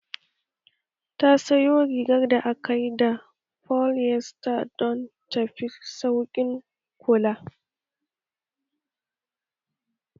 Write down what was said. Ta sayo rigar da aka yi da polyester don ta fi sauƙin kula